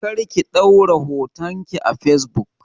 Kar ki ɗaura hoton ki a facebook!